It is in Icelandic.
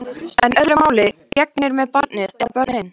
En öðru máli gegnir með barnið. eða börnin.